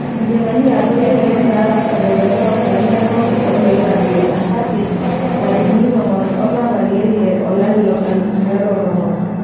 Nkijiepeni yaabori oleng' netaasate teolosaen lenkop oloirag le Antartic ntarikini tomon olapa leile lolari loonkalifuni are o tomon.